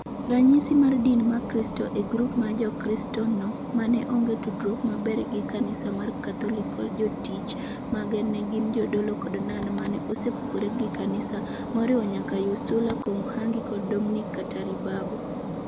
Ranyisi mar din ma Kristo e grup mar jokristo no mane onge tudruok maber gi Kanisa mar Katolik kod jotich mage ne gin jodolo kod nun mane osepogore gi kanisa moriwo nyaka Ursula Komuhangi kod Dominic Kataribabo.